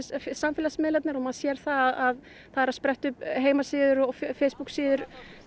samfélagsmiðlarnir og maður sér að það eru að spretta upp heimasíður og Facebooksíður